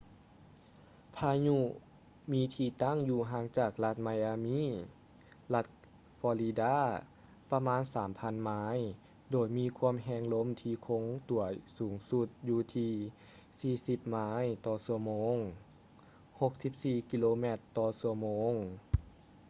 ພາຍຸມີທີ່ຕັ້ງຢູ່ຫ່າງຈາກລັດ ໄມອາມີ່ miami ລັດ ຟໍລິດາ florida ປະມານ 3,000 ໄມ ໂດຍມີຄວາມແຮງລົມທີ່ຄົງຕົວສູງສຸດຢູ່ທີ່ 40 ໄມຕໍ່ຊົ່ວໂມງ 64 ກິໂລແມັດຕໍ່ຊົ່ວໂມງ